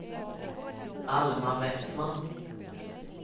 Alma Westman